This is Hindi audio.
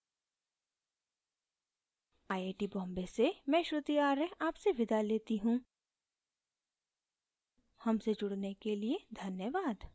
आई आई बॉम्बे से मैं श्रुति आर्य आपसे विदा लेती हूँ हमसे जुड़ने के लिए धन्यवाद